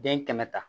Den kɛmɛ ta